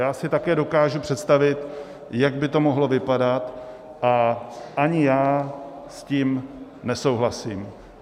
Já si také dokážu představit, jak by to mohlo vypadat, a ani já s tím nesouhlasím.